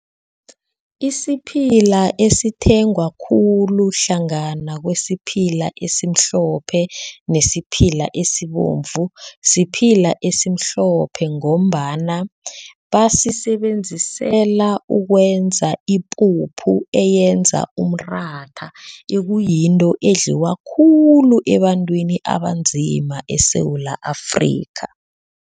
Isiphila esithengwa khulu hlangana kwesiphila esimhlophe nesiphila esibovu, siphila esimhlophe ngombana basisebenzisela ukwenza ipuphu eyenza umratha ekuyinto edliwa khulu ebantwini abanzima eSewula Afrika.